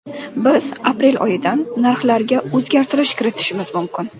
Biz aprel oyidan narxlarga o‘zgartirish kiritishimiz mumkin.